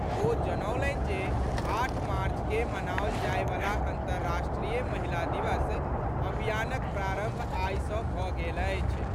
ओ जनौलनि जे आठ मार्च के मनाओल जाए वला अंतर्राष्ट्रीय महिला दिवस अभियानक प्रारंभ आई सॅ भऽ गेल अछि।